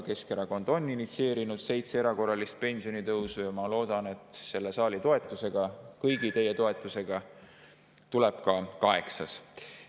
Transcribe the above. Keskerakond on initsieerinud seitse erakorralist pensionitõusu ja ma loodan, et selle saali toetusega, kõigi teie toetusega tuleb ka kaheksas.